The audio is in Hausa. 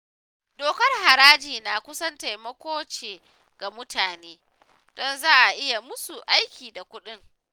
Dokar harajin nan kusan taimako ce ga mutane, don za a yi musu aiki da kuɗin